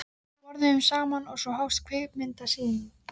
Við borðuðum saman og svo hófst kvikmyndasýningin.